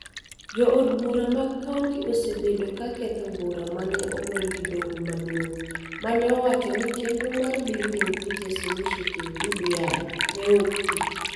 Jo od bura mag kaonti osebedo ka ketho bura ma ne ogol gi Doho Maduong� ma ne owacho ni chenro mar Building Bridges Initiative (BBI) ne ok tiyo.